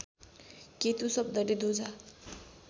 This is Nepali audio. केतु शब्दले ध्वजा